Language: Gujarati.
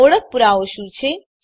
ઓળખ પુરાવો શું છે